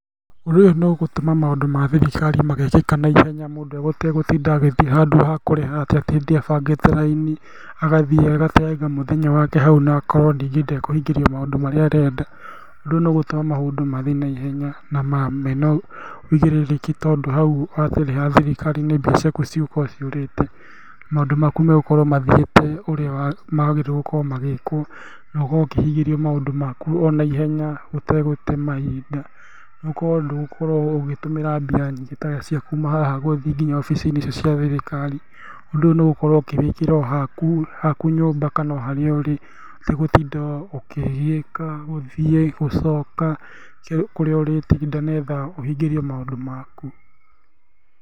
Ũndũ ũyũ nĩũgũtũma maũndũ ma thirikari magekĩka naihenya, mũndũ ategũtinda agĩthia handũ hakũrĩha atinde abangĩte raini, agathiĩ agateanga mũthenya wake hau na akorwo rĩngĩ ndekũhingĩrio maũndũ marĩa arenda, ũndũ ũyũ nĩũgũtũma maũndũ mathiĩ naihenya na mena wũigĩrĩrĩki tondũ hau thirikari-inĩ mbia ciaku itigũkorwo ciũrĩte, maũndũ maku megũkorwo mathiĩte ũrĩa magĩrĩirwo gũkorwo magĩkwo na ũkorwo ũkĩhingĩrio maũndũ maku onaihenya ũtegũte mahinda, ũkorwo ndũgũkorwo ũgĩtũmĩra mbia nyingĩ ta cia kuma haha gũthiĩ nginya obici-inĩ icio cia thirikari, ũndũ ũyũ nĩũgũkorwo ũkĩwĩkĩra haku nyũmba kana oharĩa ũrĩ, ũtegũtinda ũkĩgiĩka gũthiĩ, gũcoka kũrĩa ũrĩtinda nĩgetha ũhingĩrio maũndũ maku.